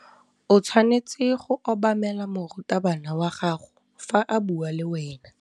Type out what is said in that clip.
O tshwanetse go obamela morutabana wa gago fa a bua le wena.